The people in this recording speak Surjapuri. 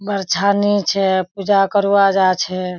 बरछनी छे पूजा करवा जा छे।